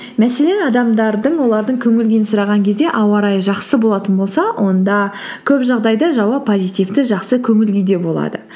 мәселен адамдардың олардың көңіл күйін сұраған кезде ауа райы жақсы болатын болса онда көп жағдайда жауап позитивті жақсы көңіл күйде болады